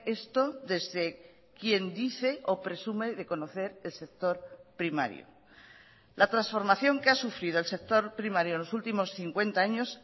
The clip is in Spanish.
esto desde quien dice o presume de conocer el sector primario la transformación que ha sufrido el sector primario en los últimos cincuenta años